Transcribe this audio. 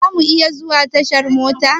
Za mu iya zuwa tashar mota?